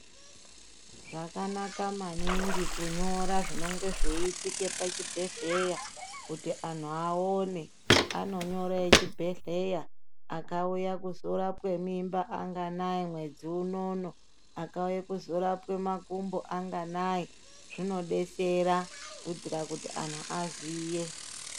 Zvakanaka maningi kunyora zvinonga zveiitika pachibhehleya kuti anhu aone anonyora echibhehleya akauya kuzorapwe mimba anganai mwedzi unono, akauye kunorapwe makumbo anganai zvinodetsera kuitira kuti anhu aziye .